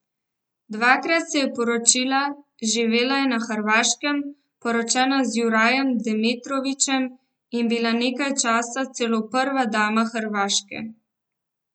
Dvakrat se je poročila, živela je na Hrvaškem, poročena z Jurajem Demetrovićem in bila nekaj časa celo prva dama Hrvaške.